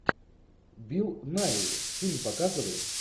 билл найи фильм показывай